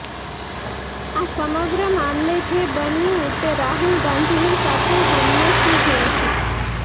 આ સમગ્ર મામલે જે બન્યું તે રાહુલ ગાંધીની સાથે હંમેશની જેમ છે